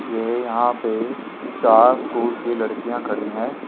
ये यहां पे चार स्कूल की लड़कियां खड़ी है।